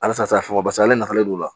Halisa mɔgɔw bas'ale nafalen don o la